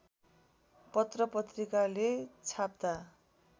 पत्र पत्रिकाले छाप्दा